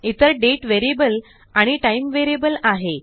इतर दाते आणि टाइम आहे